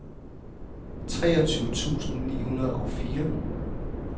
treogtyve tusind ni hundrede og fire